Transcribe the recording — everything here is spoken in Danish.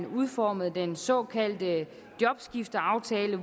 udformet den såkaldte jobskifteaftale